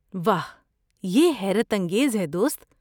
واہ! یہ حیرت انگیز ہے، دوست۔